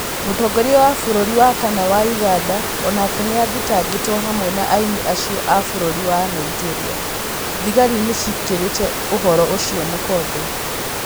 Mũtongoria wa bũrũri wa kana wa Ũganda onake nĩathitangĩtwo hamwe na aini acio a bũrũri wa Nigeria, thigari nĩciĩkĩrĩte ũhoro ũcio mũkonde